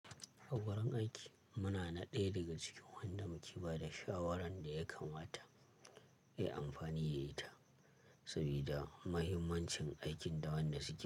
A wurin aiki muna na ɗaya daga cikin wanda muke ba da shawaran da ya kamata, ya yi amfani da ita saboda muhimmancin aikin da wanda suke.